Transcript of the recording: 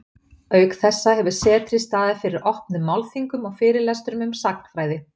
Auk þessa hefur setrið staðið fyrir opnum málþingum og fyrirlestrum um sagnfræði.